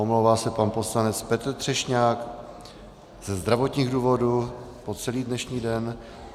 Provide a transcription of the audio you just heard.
Omlouvá se pan poslanec Petr Třešňák ze zdravotních důvodů po celý dnešní den.